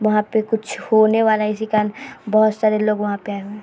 यहाँ पे कुछ होने वाला है इसी कारन बहुत सारे लोग वहाँ पे आये हुए --